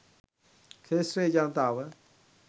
ක්ෂේත්‍රයේ ජනතාව